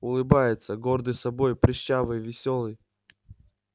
улыбается гордый собой прыщавый весёлый